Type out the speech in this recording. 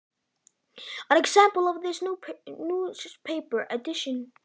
Sem dæmi um það mátti nefna blaðaútgáfuna.